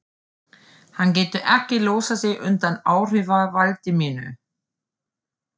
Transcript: Hann getur ekki losað sig undan áhrifavaldi mínu.